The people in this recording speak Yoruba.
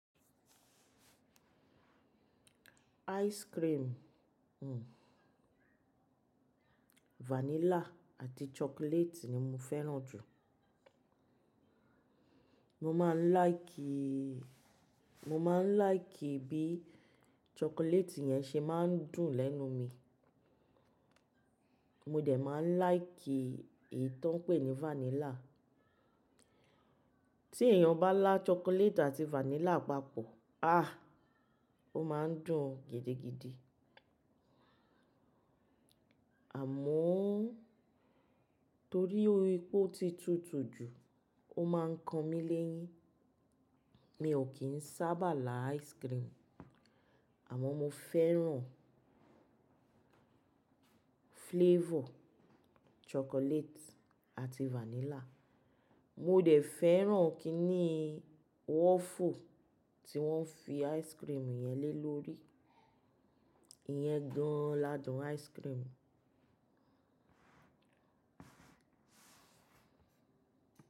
Ice cream, hmm vanilla àti chocolate ni mo fẹ́ràn jù. Mo máa ń láìkì, mo máa ń láìkì bí chocolate yẹn ṣe máa ń dùn lẹ́nu mi. Mo dẹ̀ máa ń láìkì èyí tó ń pè ní vanilla. Tí èèyàn bá lá chocolate àti vanilla papọ̀, ah! Ó máa ń dùn gidigidi. Àmọ́ torí ó ipe ó ti tùtù jù ó máa ń kan mí léyín. Mi ò kì n sábà lá ice cream. Àmọ́ mo fẹ́ràn flavor chocolate àti vanilla. Mo dẹ̀ fẹ́ràn kí ni waffle tí wọ́n fi ice cream yẹn lé lórí, ìyẹn gan ladun ice cream.